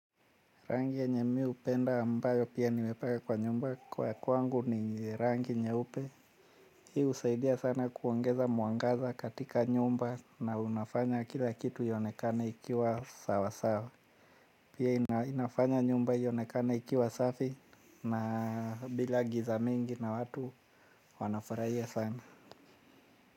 Rangi yenye mi hupenda ambayo pia nimepaka kwa nyumba kwa kwangu ni rangi nyeupe. Hii husaidia sana kuongeza mwangaza katika nyumba na unafanya kila kitu ionekana ikiwa sawa sawa. Pia inafanya nyumba ionekana ikiwa safi na bila giza mingi na watu wanafurahia sana.